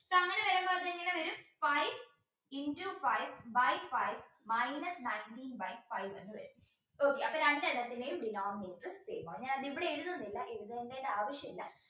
five into five by five minus nineteen by five എന്ന് വരും okay അപ്പോ രണ്ടെണ്ണത്തിന്റെയും denominator same ആവും ഞാനതിവിടെ എഴുതുന്നില്ല എഴുതേണ്ട ആവശ്യമില്ല